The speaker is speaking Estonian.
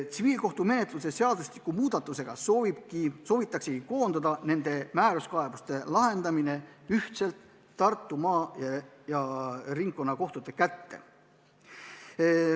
Tsiviilkohtumenetluse seadustiku muudatusega soovitaksegi koondada nende määruskaebuste lahendamine Tartu maa- ja ringkonnakohtu kätte.